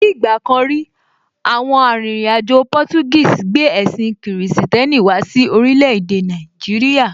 Ní ìgbà kan rí, àwọn arìnrìn-àjò Portuguese gbé ẹ̀sìn kìrìsìtẹ́nì wá sí orílẹ̀ èdè Nàìjíríà.